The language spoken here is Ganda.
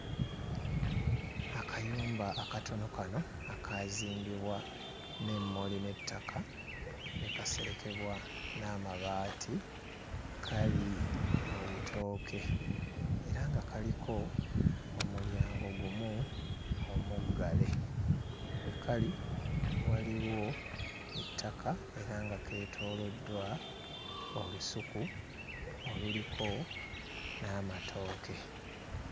Akayumba akatono kano akaazimbibwa n'emmuli n'ettaka ne kaserekebwa n'amabaati kali mu bitooke era nga kaliko omulyango gumu omuggale we kali waliwo ettaka era nga keetooloddwa olusuku oluliko n'amatooke.